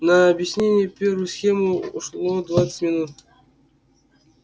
на объяснение первой схемы ушло двадцать минут